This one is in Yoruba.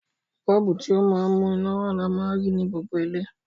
Bọ́ọ̀bù, ti o ma n mú iná wa ni a ma n rí ni gbogbo ilé